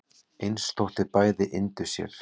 eins þótt bæði yndu sér